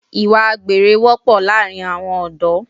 Ìwà àgbèrè wọ́pọ̀ láàrin àwọn ọ̀dọ́